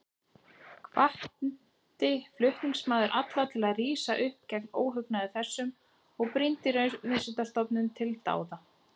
Hvatti flutningsmaður alla til að rísa upp gegn óhugnaði þessum og brýndi Raunvísindastofnun til dáða.